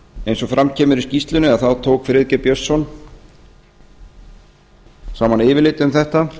eins og fram kemur í skýrslunni tók friðgeir björnsson héraðsdómari saman yfirlit um þetta